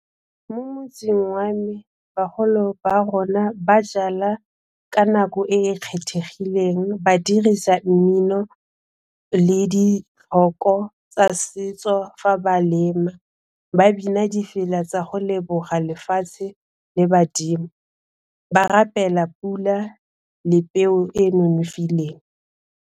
Mo motseng wa me bagolo ba rona ba jala ka nako e e kgethegileng ba dirisa mmino le dithoko tsa setso fa ba lema, ba bina difela tsa go leboga lefatshe le badimo ba rapela pula le peo e e nonofileng.